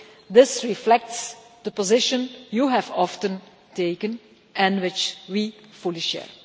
This reflects the position you have often taken and which we fully share.